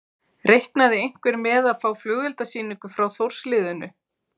Reiknaði einhver með að fá flugeldasýningu frá Þórs liðinu?